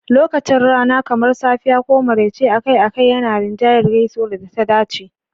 Lokacin rana, kamar safiya ko maraice, akai-akai yana rinjayar gaisuwar da ta dace.